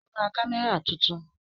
Ó ra kámẹ́rà tuntun